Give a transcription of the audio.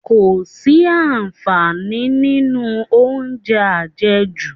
Kò sí àǹfààní nínú oúnjẹ àjẹjù